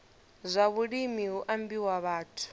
zwa vhulimi hu ambiwa vhathu